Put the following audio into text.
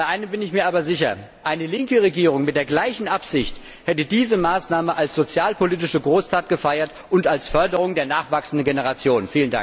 Bei einem bin ich mir aber sicher Eine linke Regierung mit der gleichen Absicht hätte diese Maßnahme als sozialpolitische Großtat gefeiert und als Förderung der nachwachsenden Generation.